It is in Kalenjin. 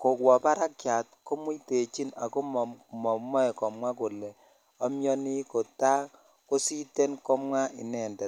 kobwa barakiyat komuitechin ako mamoei komwa kole amyoni kotakositen komwa inendet